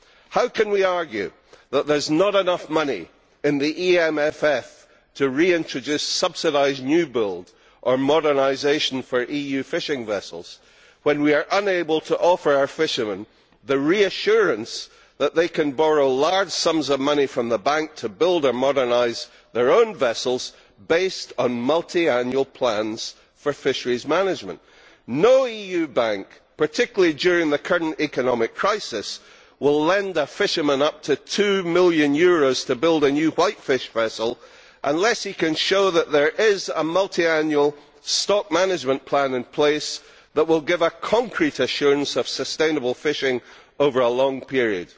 How can we argue that there is not enough money in the EMFF to reintroduce subsidised new build or modernisation for EU fishing vessels when we are unable to offer our fishermen the reassurance that they can borrow large sums of money from the bank to build or modernise their own vessels based on multiannual plans for fisheries management. No EU bank, particularly during the current economic crisis, will lend a fisherman up to EUR 2 million to build a new white fish vessel, unless he can show that there is a multiannual stock management plan in place that will give a concrete assurance of sustainable fishing over a long period.